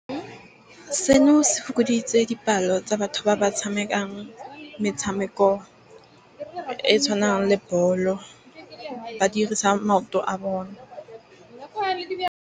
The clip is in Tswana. Seno se fokoditse dipalo tsa batho ba ba tshamekang metshameko e e tshwanang le bolo. Ba dirisa maoto a bone.